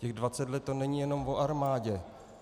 Těch 20 let, to není jenom o armádě.